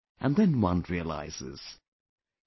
And then one realises...